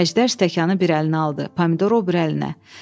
Əjdər stəkanı bir əlinə aldı, pomidoru o biri əlinə.